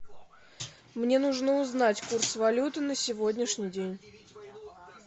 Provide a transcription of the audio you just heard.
мне нужно узнать курс валюты на сегодняшний день